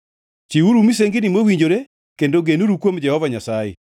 Chiwuru misengini mowinjore kendo genuru kuom Jehova Nyasaye.